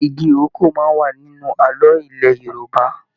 Ìgi ìrókò máa n wà nínú ààlọ́ ilẹ Yorùbá.